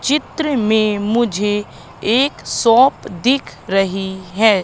चित्र में मुझे एक शॉप दिख रही है।